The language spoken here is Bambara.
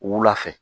Wula fɛ